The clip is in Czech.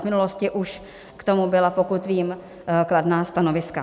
V minulosti už k tomu byla, pokud vím, kladná stanoviska.